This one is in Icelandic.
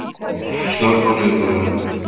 Árún, slökktu á niðurteljaranum.